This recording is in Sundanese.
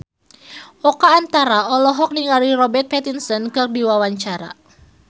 Oka Antara olohok ningali Robert Pattinson keur diwawancara